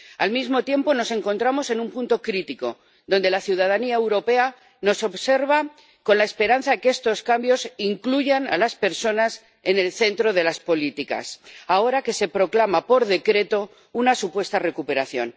Al mismo tiempo, nos encontramos en un punto crítico la ciudadanía europea nos observa con la esperanza de que estos cambios incluyan a las personas en el centro de las políticas, ahora que se proclama por decreto una supuesta recuperación.